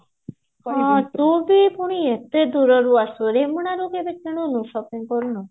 ତୁ ବି ପୁଣି ଏତେ ଦୂରରୁ ଆସୁଛୁ ରେମୁଣା ରୁ କେବେ କିଣିନୁ shopping କରିନୁ